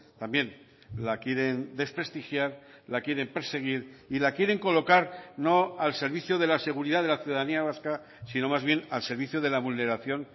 también la quieren desprestigiar la quieren perseguir y la quieren colocar no al servicio de la seguridad de la ciudadanía vasca sino más bien al servicio de la vulneración